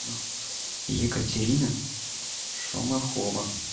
екатерина шумахова